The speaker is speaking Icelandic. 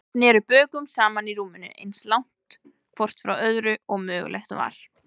Þau sneru bökum saman í rúminu, eins langt hvort frá öðru og mögulegt var.